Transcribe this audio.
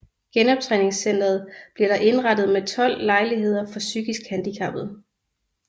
Genoptræningscenteret bliver der indrettet med 12 lejligheder for psykisk handicappede